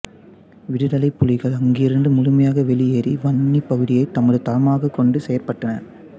விடுதலைப்புலிகள் அங்கிருந்து முழுமையாக வெளியேறி வன்னிப் பகுதியைத் தமது தளமாகக் கொண்டு செயற்பட்டனர்